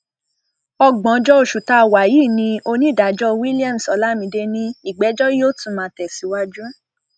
ọgbọnjọ oṣù tá a wà yìí ni onídàájọ williams olamide ní ìgbẹjọ yóò tún máa tẹsíwájú